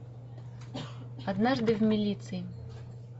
однажды в милиции